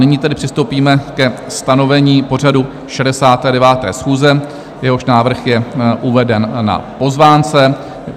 Nyní tedy přistoupíme ke stanovení pořadu 69. schůze, jehož návrh je uveden na pozvánce.